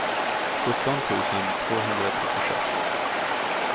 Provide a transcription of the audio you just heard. sjutton tusen tvåhundratrettiosex